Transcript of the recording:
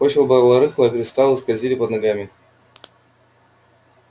почва была рыхлая кристаллы скользили под ногами